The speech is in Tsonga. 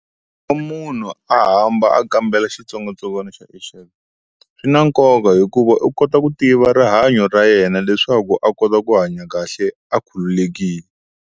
munhu a hamba a kambela xitsongwatsongwana xa H_I_V swi na nkoka hikuva u kota ku tiva rihanyo ra yena leswaku a kota ku hanya kahle a khululekile.